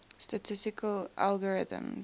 statistical algorithms